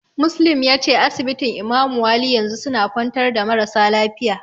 Muslim yace asibitin Imamu wali yanzu suna kwantar da marasa lafiya.